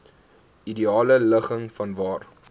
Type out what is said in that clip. ideale ligging vanwaar